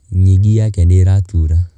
Nyingi yake nĩ ĩratura.